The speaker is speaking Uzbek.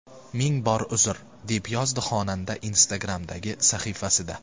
Ming bor uzr”, deb yozdi xonanda Instagram’dagi sahifasida.